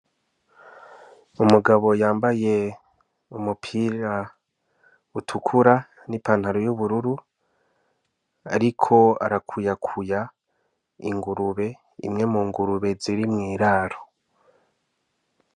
Umugabo yambaye umupira utukura n'ipantaro y'ubururu , ariko arakuyakuya ingurube, imwe mu ngurube ziri mw'iraro.